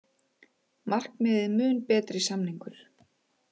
Markmiðið mun betri samningur